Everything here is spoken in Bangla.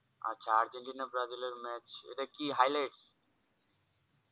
আচ্ছা আর্জেন্টিনা ব্রাজিলের match এটা কি highlight?